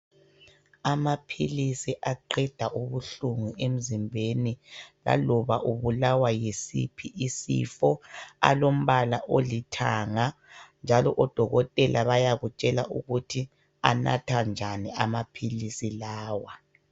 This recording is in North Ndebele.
Amaphilisi aqeda ubuhlungu emzimbeni laloba ubulawa yisiphi isifo alombala olithanga njalo odokotela bayakutshela ukuthi anathwa njani amaphilisi lawa.